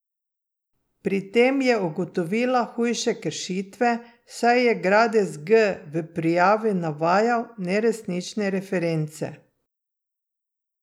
Pri tem je ugotovila hujše kršitve, saj je Gradis G v prijavi navajal neresnične reference.